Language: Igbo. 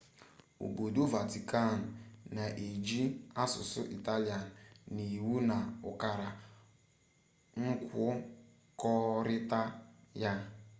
obodo vatican na-eji asụsụ italian na iwu na ukara nkwukọrịta ya